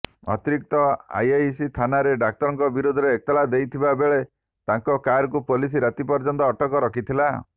ଅତିରିକ୍ତ ଆଇଆଇସି ଥାନାରେ ଡାକ୍ତରଙ୍କ ବିରୋଧରେ ଏତଲା ଦେଇଥିବା ବେଳେ ତାଙ୍କ କାରକୁ ପୋଲିସ ରାତି ପର୍ଯ୍ୟନ୍ତ ଅଟକ ରଖିଥିଲା